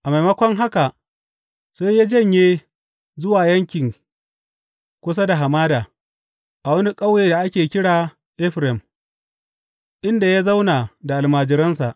A maimako haka sai ya janye zuwa yankin kusa da hamada, a wani ƙauye da ake kira Efraim, inda ya zauna da almajiransa.